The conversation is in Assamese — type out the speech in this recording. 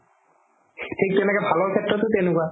থিকে তেনেকে ভালৰ শেত্ৰতো তেনেকুৱা